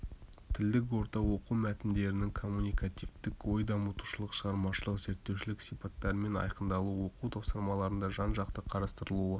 тілдік орта оқу мәтіндерінің коммуникативтік ой дамытушылық шығармашылық зерттеушілік сипаттарымен айқындалуы оқу тапсырмаларында жан-жақты қарастырылуы